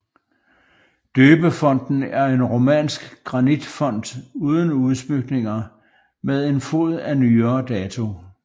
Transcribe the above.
Døbefonten er en romansk granitfont uden udsmykninger med en fod af nyere dato